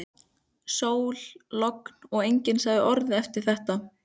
Sól, logn og enginn sagði orð eftir þetta.